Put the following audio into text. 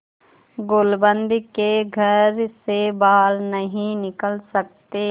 गुलूबंद के घर से बाहर नहीं निकल सकते